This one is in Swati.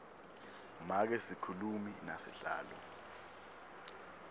make sikhulumi nasihlalo